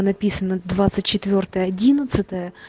написано двадцать четвёртое одиннадцатое